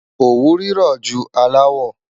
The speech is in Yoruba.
Ọwú rírọ jù àláwọ̀.